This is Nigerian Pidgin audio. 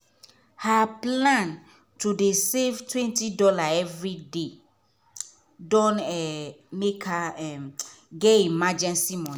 her plan to dey save $20 everyday don um make her um get emergency money.